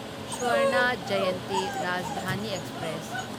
Swarna Jayanti Rajdhani express